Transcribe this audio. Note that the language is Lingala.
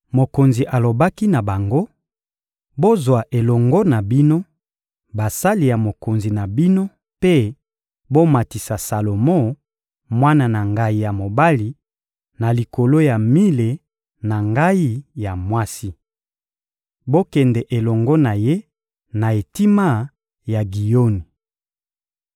mokonzi alobaki na bango: — Bozwa elongo na bino basali ya mokonzi na bino mpe bomatisa Salomo, mwana na ngai ya mobali, na likolo ya mile na ngai ya mwasi. Bokende elongo na ye na etima ya Giyoni!